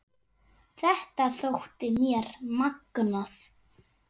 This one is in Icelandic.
Þetta þótti mér magnað.